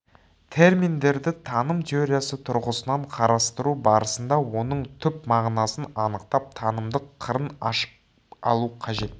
терминдерді таным теориясы тұрғысынан қарастыру барысында оның түп мағынасын анықтап танымдық қырын ашып алу қажет